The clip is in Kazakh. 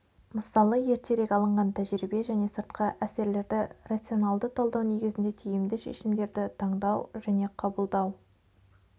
мысалы ертерек алынған тәжірибе және сыртқы әсерлерді рационалды талдау негізінде тиімді шешімдерді таңдау және қабылдау